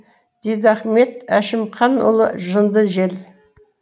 дидахмет әшімханұлы жынды жел